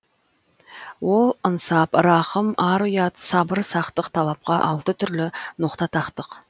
ол ынсап рақым ар ұят сабыр сақтық талапқа алты түрлі ноқта тақтық